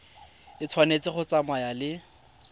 e tshwanetse go tsamaya le